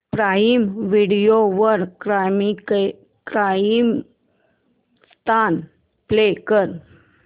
prime video वर Comicstan play कर